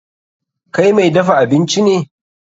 Kai mai dafa abinci ne.